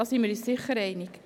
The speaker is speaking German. Das ist eine hohe Summe.